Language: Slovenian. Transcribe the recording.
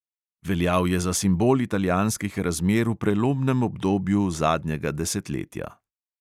Veljal je za simbol italijanskih razmer v prelomnem obdobju zadnjega desetletja.